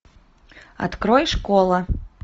открой школа